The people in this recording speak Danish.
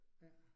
Ja